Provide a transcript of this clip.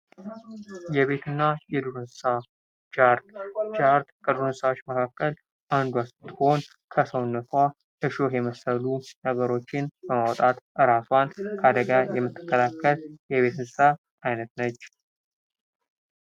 የቤትና የዱር እንስሳ ጃርት። ጃርት ከዱር እንስሳዎች መካከል አንዷ ስትሆን ከሰውነቷ እሾህ የመሰሉ ነገሮችን በማውጣት ራሷን ከአደጋ የምትከላከል የቤተ እንስሳ አይነት ነች።